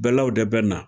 Bɛlaw de bɛ na